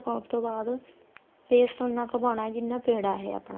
ਪਾਉਣ ਤੋਂ ਬਾਅਦ paste ਉਨਾ ਕ ਪਾਣਾ ਜਿੰਨਾ ਕ ਪੇੜਾ ਏ ਆਪਣਾ